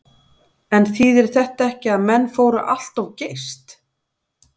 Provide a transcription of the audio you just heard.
En þýðir þetta ekki að menn fóru allt of geyst?